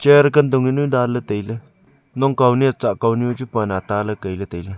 chair kantong jaonu danle taile naongkao nia tsahkao ni ma chu pan ata kaile taile.